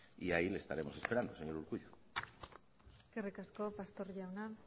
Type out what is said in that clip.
y ahí le estaremos esperando señor urkullu eskerrik asko pastor jauna